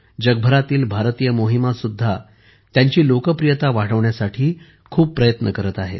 जगभरातील भारतीय मोहिमा सुद्धा त्यांची लोकप्रियता वाढवण्यासाठी खूप प्रयत्न करत आहेत